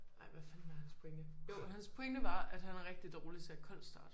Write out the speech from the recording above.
Ej hvad fanden var hans pointe? Jo hans pointe var at han er rigtig dårlig til at koldstarte